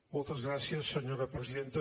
moltes gràcies senyor presidenta